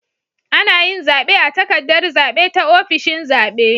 Anayin zabe a takaddar zabe ta ofishin zabe